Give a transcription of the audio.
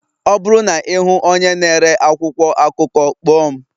Ọ bụrụ na ị hụ onye na-ere akwụkwọ akụkọ, kpọọ m